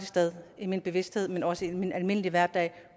i min bevidsthed men også i min almindelige hverdag